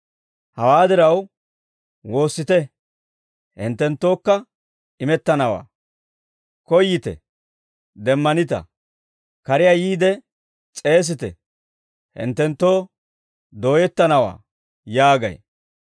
Hawaa diraw, ‹Woossite, hinttenttookka imettanawaa; koyyite, demmanita; kariyaa yiide s'eesite, hinttenttoo dooyettanawaa› yaagay.